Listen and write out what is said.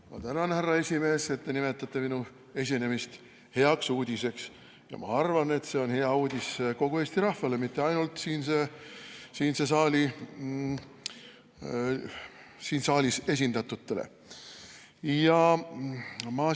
Ma tänan, härra esimees, et te nimetate minu esinemist heaks uudiseks, ja ma arvan, et see on hea uudis kogu Eesti rahvale, mitte ainult siin saalis esindatutele!